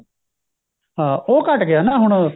ਹਾਂ ਉਹ ਘੱਟ ਗਿਆ ਨਾ ਹੁਣ